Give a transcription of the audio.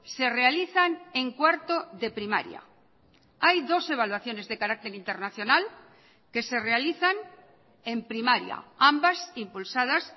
se realizan en cuarto de primaria hay dos evaluaciones de carácter internacional que se realizan en primaria ambas impulsadas